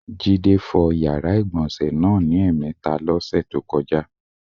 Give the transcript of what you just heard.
Jídé fo̩ yàrá ìgbò̩nsè̩ náà ní è̩mè̩e̩ta ló̩sè̩ tó ko̩já.